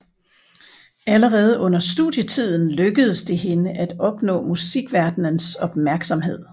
Allerede under studietiden lykkedes det hende at opnå musikverdenens opmærksomhed